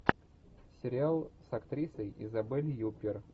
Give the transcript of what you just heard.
сериал с актрисой изабель юппер